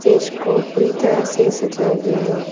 इसको पूरी तरह से सजाया गया है।